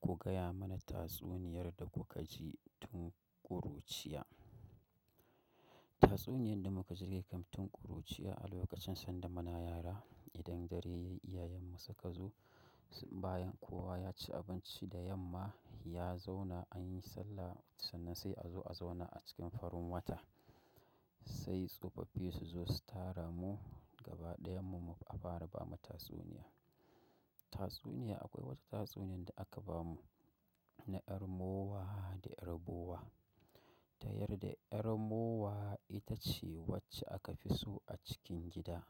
Ku gaya mana tatsuniyar da kuka ji tun ƙuruciya. Tatsuniyan da muka ji dai kam tun ƙuruciya, a lokacin sanda muna yara. Idan dare yayi, iyayenmu suka zo, bayan kowa ya ci abinci da yamma, ya zauna anyi sallah sannan sai a zo a zauna a cikin farin wata. Sai tsofaffi su zo su tara mu gaba ɗayan mu a fara bamu tatsuniya. Tatsuniya akwai wata tatsuniyan da aka bamu na ƴar mowa da ƴar bowa. Ta yarda ƴar mowa ita ce wacce aka fi so a cikin gida.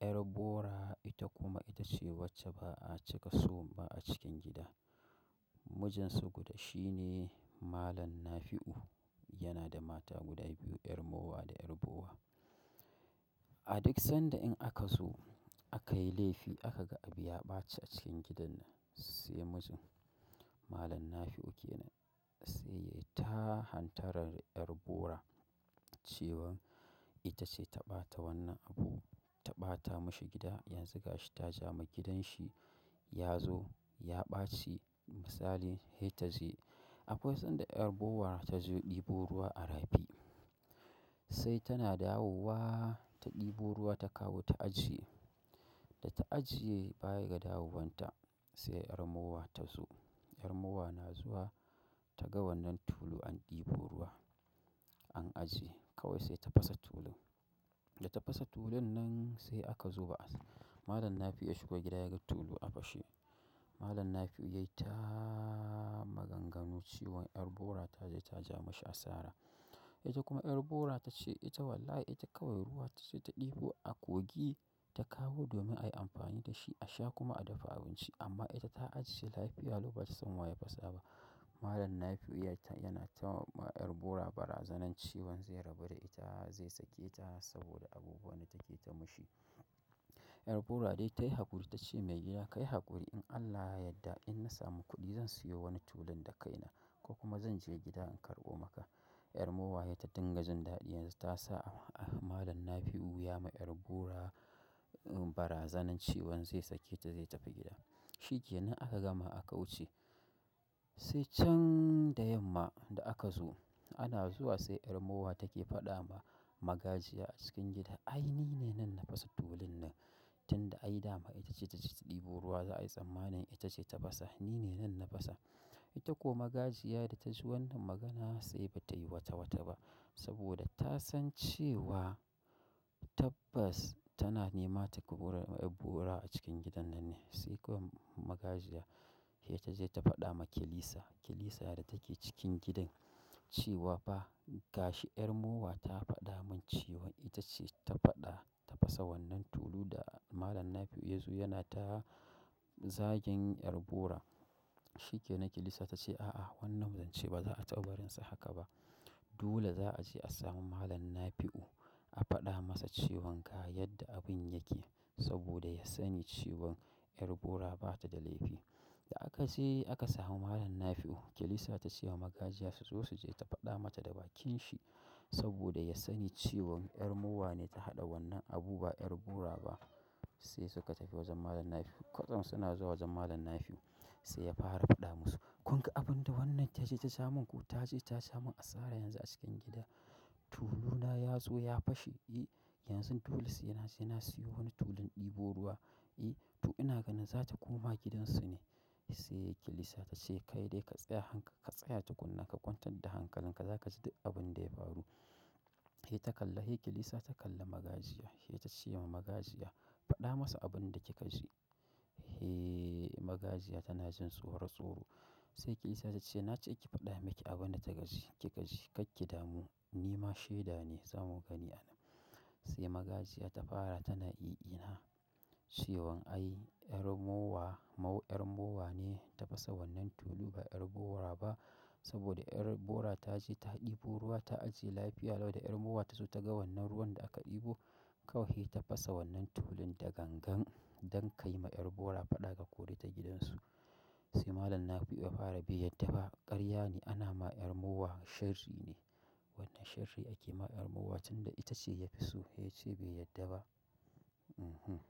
Ƴar bora ita kuma ita ce wacce ba a cika so ba a cikin gida. Mijin su guda shi ne Malam Nafi'u. Yana da mata guda biyu, ƴar mowa da ƴar bowa. A duk sanda in aka zo aka yi laifi aka ga abi ya ɓace a cikin gidan nan, sai mijin, Malam Nafi'u kenan sai ya yi ta hantaran ƴar bora cewan ita ce ta ɓata wannan abu, ta ɓata mashi gida. Yanzu gashi ta ja ma gidanshi. Ya zo ya ɓaci misali, he ta je. Akwai sanda ƴar bowar ta je ɗibo ruwa a rafi. Sai tana dawowa ta ɗibo ruwa ta kawo ta ajiye. Da ta ajiye baya ga dawowanta sai ƴar mowa ta zo. Ƴar mowa na zuwa ta ga wannan tulu an ɗebo ruwa, an ajiye kawai sai ta fasa tulun. Da ta fasa tulun nan sai aka zuba. Malam Nafi'u ya shigo gida ya ga tulu a fashe. Malam Nafi'u yayi ta maganganu cewan ƴar bora ta je ta ja mashi asara. Ita kuma ƴar bora ta ce ita wallahi ita kawai ruwan ta je ta ɗibo a kogi ta kawo domin ai amfani da shi a sha kuma a dafa abinci amma ita ta ajiye lafiya lau ba ta san wa ya fasa ba. Malam Nafi'u yana ta wa ƴar bora barazanar cewan zai rabu da ita zai sake ta saboda abubuwan da take ta mashi. Ƴar bora dai ta yi haƙuri ta ce mai gida "Kai haƙuri in Allah ya yadda in na samu kuɗi zan siyo wani tulun da kaina ko kuma zan je gida in karɓo maka." ƴar mowa he ta dinga jin daɗi yanzu ta sa Malam Nafi'u ya ma ƴar bora barazanar cewan zai sake ta zai tafi gida. Shikenan aka gama aka wuce. Sai can da yamma da aka zo ana zuwa sai 'yar mowa take faɗama magajiya a cikin gida "ai ni ne nan na fasa tulunnan tun da ai dama ita ce ta je ta ɗibo ruwa za a yi tsammanin ita ce ta fasa. Ni ne nan na fasa." Ita ko magajiya da ta ji wannan magana sai ba ta yi wata wata ba saboda ta san cewa tabbas tana nema ta kubura wa 'yar bora a cikin gidan nan ne. Sai kom magajiya he ta je ta faɗa ma kilisa. Kilisa da take cikin gidan cewa fa gashi ƴar mowa ta faɗa min cewan ita ce ta faɗa ta fasa wannan tulu da Malam Nafi'u ya zo yana ta zagen ƴar bora. Shike nan kilisa ta ce "A'a wannan zance ba za a taɓa barin sa haka ba. Dole za a je a samu Malam Nafi'u a faɗa masa cewan ga yadda abun yake saboda ya sani cewan ƴar bora bata da laifi." Da aka je aka samu Malam Nafi'u kilisa ta ce ma magajiya su zo su je ta faɗa mata da bakin shi saboda ya sani cewan ƴar mowa ne ta haɗa wannan abu ba ƴar bora ba. Sai suka tafi wajen Malam Nafi'u. Kwatsam suna zuwa wajen Malam Nafi'u sai ya fara faɗa musu "Kun ga abun da wannan ta je ta ja sha min ko ta je ta sha min asara yanzu a cikin gida. Tuluna ya zo ya fashe, e! Yanzu dole sai na je na siyo wani tulun ɗibo ruwa, e! To ina ganin za ta koma gidansu ne." Sai kilisa ta ce "Kai dai ka tsaya hank ka tsaya tukunna ka kwantar da hankalin ka, za ka ji duk abunda ya faru." he ta kalla he kilisa ta kalla magajiya sai ta ce ma magajiya "Faɗa masa abun da kika ji." he magajiya tana jin tsoro tsoro. Sai kilisa ta ce "na ce ki faɗa miki abun da kika ji kika ji. Kakki damu ni ma sheda ne zamu gani a nan." Sai magajiya ta fara tana i ina cewan ai ƴar mowa, mau ƴar mowa ne ta fasa wannan tulu ba ƴar bora ba saboda ƴar bora ta je ta ɗibo ruwa ta ajiye lafiya lau da ƴar mowa ta zo ta ga wannan ruwan da aka ɗibo kawai he ta fasa wannan tulun da gangan don kai ma ƴar bora faɗa ka kore ta gidansu. He malam Nafi'u ya fara be yarda ba cewa ƙaryane ana ma 'yar mowa sharri ne wanda sharri ake ma 'yar mowa tunda ita ce yafi so. He ya ce bai yadda ba. Mhm.